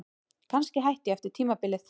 Kannski hætti ég eftir tímabilið.